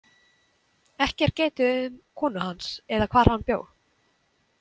Ekki er getið um konu hans eða hvar hann bjó.